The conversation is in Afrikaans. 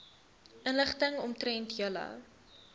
inligting omtrent julle